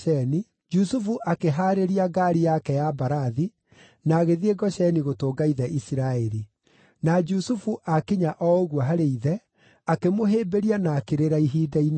Jusufu akĩhaarĩria ngaari yake ya mbarathi, na agĩthiĩ Gosheni gũtũnga ithe Isiraeli. Na Jusufu aakinya o ũguo harĩ ithe, akĩmũhĩmbĩria na akĩrĩra ihinda inene.